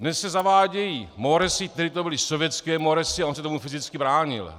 Dnes se zavádějí moresy - tehdy to byly sovětské moresy a on se tomu fyzicky bránil.